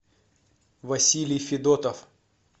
василий федотов